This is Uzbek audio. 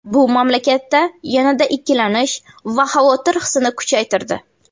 Bu mamlakatda yanada ikkilanish va xavotir hissini kuchaytirdi.